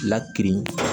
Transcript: Lakirin